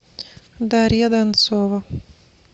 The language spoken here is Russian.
дарья донцова